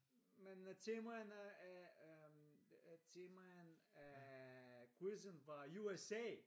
Men øh temaerne af øh temaerne af øh quizzen var USA